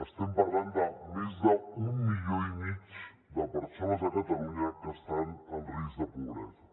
estem parlant de més d’un milió i mig de persones a catalunya que estan en risc de pobresa